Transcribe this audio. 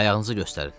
Ayağınızı göstərin.